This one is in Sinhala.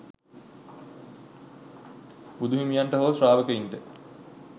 බුදු හිමියන්ට හෝ ශ්‍රාවකයින්ට